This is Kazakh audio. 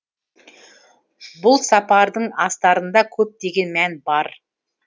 бұл сапардың астарында көптеген мән бар